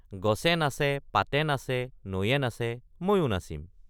গছে নাচে পাতে নাচে নৈয়ে নাচে ময়ো নাচিম।